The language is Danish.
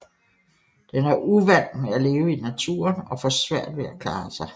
Den er uvant med at leve i naturen og får svært ved at klare sig